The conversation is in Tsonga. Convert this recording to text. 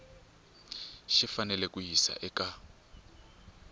xi fanele ku yisiwa eka